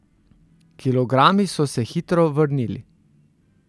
Kilogrami so se hitro vrnili.